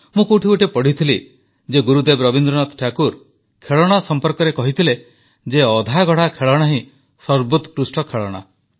ମୁଁ କେଉଁଠି ପଢ଼ିଥିଲି ଯେ ଗୁରୁଦେବ ରବୀନ୍ଦ୍ରନାଥ ଠାକୁର ଖେଳଣା ସମ୍ପର୍କରେ କହିଥିଲେ ଯେ ଅଧାଗଢ଼ା ଖେଳଣା ହିଁ ସର୍ବୋକ୍ରୁଷ୍ଟ ଖେଳଣା